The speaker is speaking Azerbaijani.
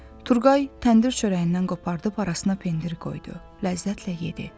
Turqay təndir çörəyindən qopardıb arasına pendiri qoydu, ləzzətlə yedi.